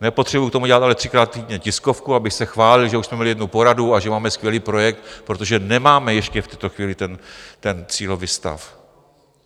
Nepotřebuju k tomu dělat ale třikrát týdně tiskovku, abych se chválil, že už jsme měli jednu poradu a že máme skvělý projekt, protože nemáme ještě v tuto chvíli ten cílový stav.